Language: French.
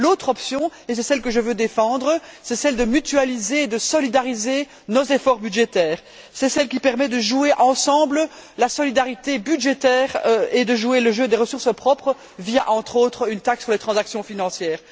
L'autre option et c'est celle que je veux défendre c'est celle de mutualiser et de solidariser nos efforts budgétaires, c'est celle qui permet de jouer ensemble la solidarité budgétaire et de jouer le jeu des ressources propres via, entre entres, une taxe sur les transactions financières.